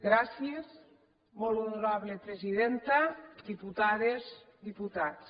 gràcies molt honorable presidenta diputades diputats